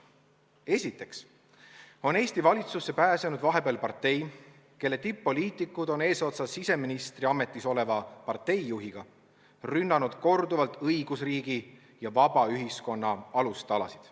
Esiteks, Eesti valitsusse on vahepeal pääsenud partei, kelle tipp-poliitikud eesotsas siseministri ametis oleva partei juhiga on korduvalt rünnanud õigusriigi ja vaba ühiskonna alustalasid.